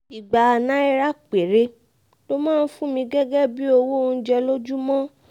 ìgbà náírà péré ló máa ń fún mi gẹ́gẹ́ bíi owó oúnjẹ lójúmọ́